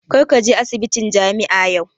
Kar ka je asibitin jami'a yau!